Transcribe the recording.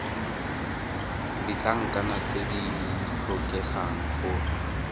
ditlankana tse di tlhokegang go